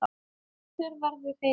Hver verður hetjan?